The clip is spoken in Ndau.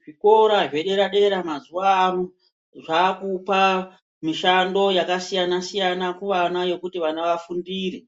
Zvikora zvedera-dera mazuvano zvaakupa mishando yakasiyana-siyana kuvana yokuti vana vafundire.